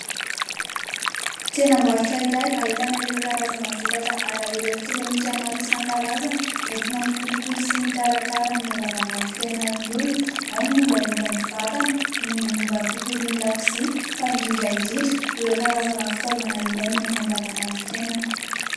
Tsenam-barotra iray ahitana ireo karazana vokatra ara elektronika maro isan-karazany, entina mikolokolo sy mikarakara amin'ny andavanandrompiainan'ny olona. Ao ny mombamomba ny vatana, ny mombamomba ny tontolon'ny lakozia fa indrindra indrindra ireo karazana fitaovana ilaina amin'ny andavanandrompiainana.